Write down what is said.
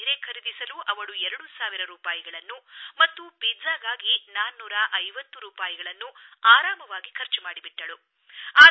ಒಂದು ಸೀರೆ ಖರೀದಿಸಲು ಅವಳು 2 ಸಾವಿರ ರೂಪಾಯಿಗಳನ್ನು ಮತ್ತು ಪಿಜ್ಜಾಗಾಗಿ 450 ರೂಪಾಯಿಗಳನ್ನು ಆರಾಮವಾಗಿ ಖರ್ಚು ಮಾಡಿಬಿಟ್ಟಳು